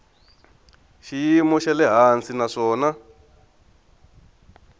xiyimo xa le hansi naswona